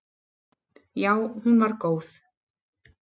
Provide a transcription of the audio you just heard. Já hún var góð.